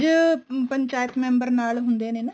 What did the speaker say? ਪੰਜ ਪੰਚਾਇਤ member ਨਾਲ ਹੁੰਦੇ ਨੇ ਨਾ